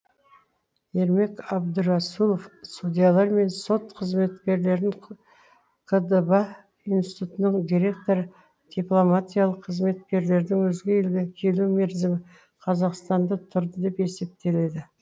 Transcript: ермек абдрасулов судьялар мен сот қызметкерлерін қдба институтының директоры дипломатиялық қызметкерлердің өзге елге келу мерзімі қазақстанда тұрды деп есептеледі